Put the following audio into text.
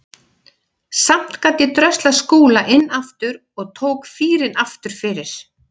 Samt gat ég dröslað Skúla inn aftur og tók fýrinn aftur fyrir.